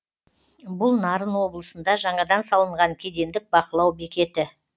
бұл нарын облысында жаңадан салынған кедендік бақылау бекеті